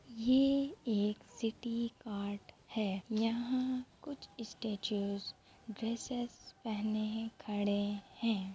ये एक city cart है। यहाँ कुछ इस स्टेच्यू ड्रेसेस पहने खड़े हैं।